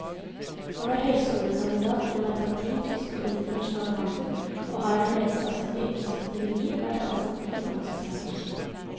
Han er høyskolekandidat i merkantil tysk og internasjonal handel, og har det meste av sitt yrkesaktive liv vært ansatt i finansbransjen.